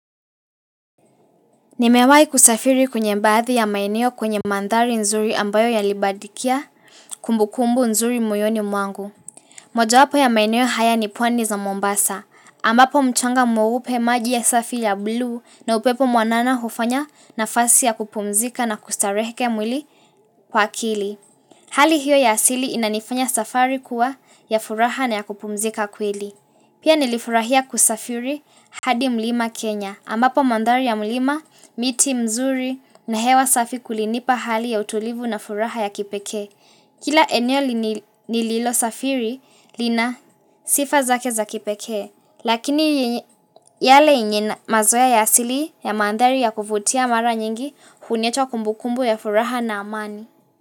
Nimewahi kusafiri kwenye baadhi ya maeneo kwenye mandhari nzuri ambayo ya linipatia kumbu kumbu nzuri moyoni mwangu. Moja wapo ya maeneo haya ni pwani za Mombasa. Ambapo mchanga mweupe maji ya safi ya blue na upepo mwanana hufanya nafasi ya kupumzika na kustareheke mwili kwa akili. Hali hiyo ya asili inanifanya safari kuwa ya furaha na ya kupumzika kweli. Pia nilifurahia kusafiri hadi mlima Kenya ambapo mandhari ya mlima miti mizuri na hewa safi kulinipa hali ya utulivu na furaha ya kipeke. Kila eneo nililo safiri lina sifa zake za kipekee. Lakini yale yenye mazoea ya asili ya mandhari ya kuvutia mara nyingi huniacha kumbukumbu ya furaha na amani.